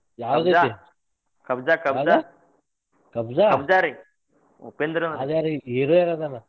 ಯಾವದ್ ಐತಿ? ಕಬ್ಜ? ಅದ್ರಾಗ್ ಹೀರೋ ಯಾರ್ ಅದಾರ?